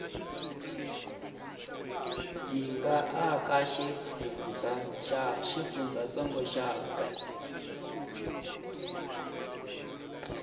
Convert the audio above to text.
yi nga eka xifundzantsongo xakwe